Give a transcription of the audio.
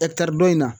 Ɛkitari don in na